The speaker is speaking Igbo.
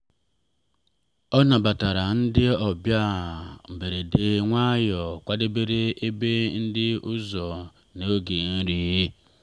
ọ nabatara ndị ọbịa mberede nwayọ kwadebere ebe ndị ọzọ n’oge nri.